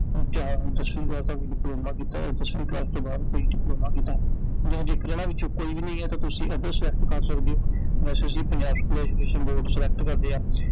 ਜਾਂ ਹੁਣ ਤੁਸੀਂ ਦਸਵੀਂ ਕਲਾਸ ਤੋਂ ਬਾਅਦ ਕੋਈ ਡਿਪਲੋਮਾ ਕਿਤੈ I ਨਹੀਂ ਤਾਂ ਜੇਕਰ ਇਹਨਾਂ ਵਿੱਚੋ ਕੋਈ ਵੀ ਨੀ ਐ ਤਾਂ ਤੁਸੀਂ ਏਦਾਂ ਏ select ਕਰ ਸਕਦੇ ਓI ਵੈਸੇ ਅਸੀਂ Punjab school education board select ਕਰਲਿਆ